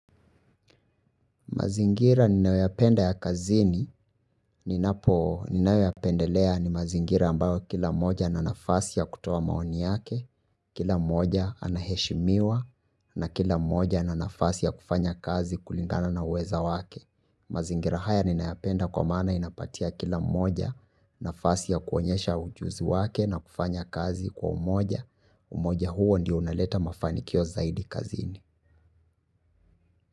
Mazingira ninayoyapenda ya kazini, ninapo ninayo yapendelea ni mazingira ambayo kila moja ana nafasi ya kutoa maoni yake, kila mmoja anaheshimiwa, na kila mmoja ana nafasi ya kufanya kazi kulingana na uwezo wake. Mazingira haya ninayapenda kwa maana inapatia kila mmoja nafasi ya kuonyesha ujuzi wake na kufanya kazi kwa umoja. Umoja huo ndio unaleta mafanikio zaidi kazini.